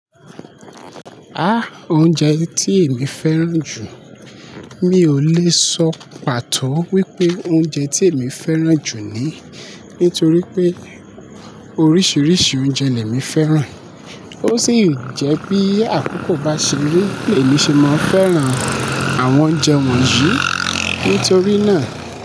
Há! Oúnjẹ tí èmi fẹ́ràn jù, mi ò lè sọ pàtó wípé oúnjẹ tí èmi fẹ́ràn jù nyii, nítorí pé oríṣiríṣi oúnjẹ lèmí fẹ́ràn. Ó sì jẹ́ bí àkókò bá ṣe ri èmi ṣe máa fẹ́ràn àwọn oúnjẹ wọ̀nyí. Nítorí náà.